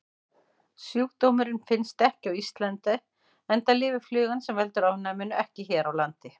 Sjúkdómurinn finnst ekki á Íslandi enda lifir flugan sem veldur ofnæminu ekki hér á landi.